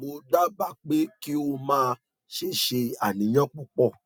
mo dábàá pé kí o má ṣe ṣe àníyàn púpọ